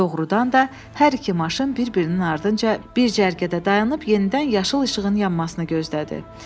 Doğrudan da, hər iki maşın bir-birinin ardınca bir cərgədə dayanıb yenidən yaşıl işığın yanmasını gözlədi.